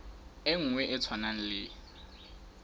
e nngwe e tshwanang le